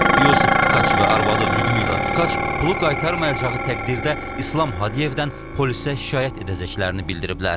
Yusif Tkaç və arvadı Lyudmila Tkaç pulu qaytarmayacağı təqdirdə İslam Hadiyevdən polisə şikayət edəcəklərini bildiriblər.